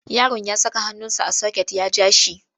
Yaro ya saka hannunsa a soket ya ja shi.